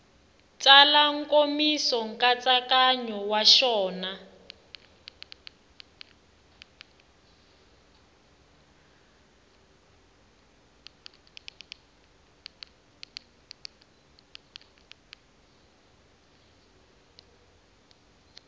tsala nkomiso nkatsakanyo wa xona